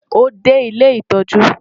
Ó dé ilé ìtọ́jú.